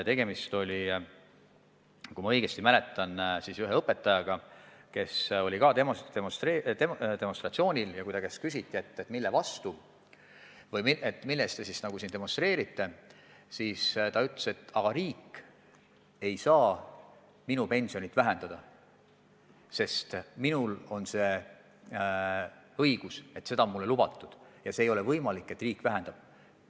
Kui ma õigesti mäletan, siis ühe õpetaja käest, kes oli ka demonstratsioonil, küsiti, mille vastu või mille poolt te siis meelt avaldate, ja ta ütles, et riik ei saa minu pensioni vähendada – minul on õigus seda saada, seda on mulle lubatud ja ei ole võimalik, et riik seda vähendab.